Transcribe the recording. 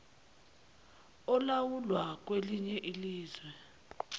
olawulwa kwelinye izwe